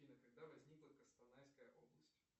афина когда возникла костанайская область